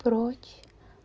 прочь